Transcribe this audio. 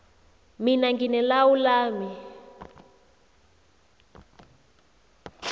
mina ngine lawu lami